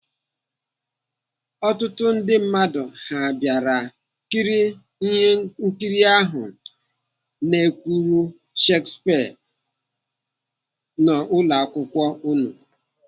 Ọtụtụ ndị mmadụ ha bịara kirie nkiri ahụ n'èkwùrù Shakespeare n'ụlọakwụkwọ unu?